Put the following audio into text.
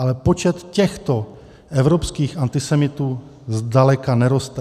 Ale počet těchto evropských antisemitů zdaleka neroste.